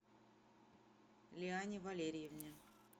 лиане валерьевне